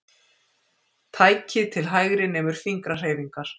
Tækið til hægri nemur fingrahreyfingar.